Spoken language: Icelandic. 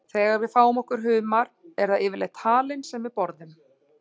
Þegar við fáum okkur humar er það yfirleitt halinn sem við borðum.